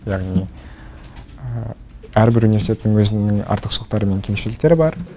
яғни әрбір университеттің өзінің артықшылықтары мен кемшіліктері бар